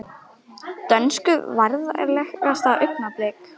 Dönsku Vandræðalegasta augnablik?